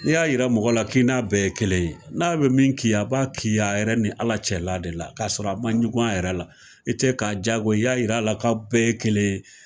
N'i y'a yira mɔgɔ la k'i n'a bɛɛ ye kelen ye, n'a bɛ min k'i ye a b'a k'i a yɛrɛ ni Ala cɛla de la kasɔrɔ a ma ɲugun a yɛrɛ la, i tɛ ka diyagoya yir'a la k'aw bɛɛ ye kelen ye